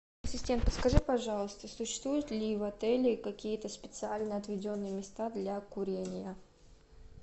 ассистент подскажи пожалуйста существуют ли в отеле какие то специально отведенные места для курения